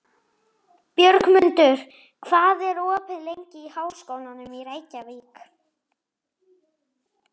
Björgmundur, hvað er opið lengi í Háskólanum í Reykjavík?